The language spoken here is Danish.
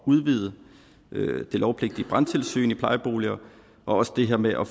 udvide det lovpligtige brandtilsyn i plejeboliger og også det her med at